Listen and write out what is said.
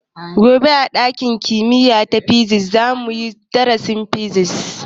Gobe a ɗakin kimiya ta physics za mu yi darasin Physics.